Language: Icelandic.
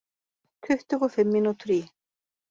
Tuttugu og fimm mínútur í